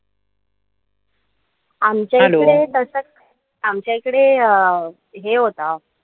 आमच्या इथे आमच्या इकडे अं हे होत,